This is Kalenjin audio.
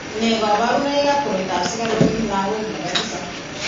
Nee kabarunoikab koroitoab sikaruk eng' lagok nebo tisap?